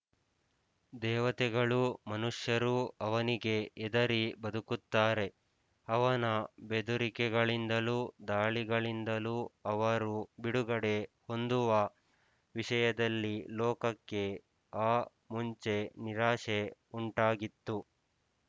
ದೇವತೆಗಳೂ ಮನುಷ್ಯರೂ ಅವನಿಗೆ ಹೆದರಿ ಬದುಕುತ್ತಾರೆ ಅವನ ಬೆದುರಿಕೆಗಳಿಂದಲೂ ದಾಳಿಗಳಿಂದಲೂ ಅವರು ಬಿಡುಗಡೆ ಹೊಂದುವ ವಿಷಯದಲ್ಲಿ ಲೋಕಕ್ಕೆ ಆ ಮುಂಚೆ ನಿರಾಶೆ ಉಂಟಾಗಿತ್ತು